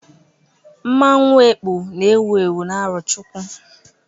Mmanwu Ekpo na ewu ewu n'Arochukwu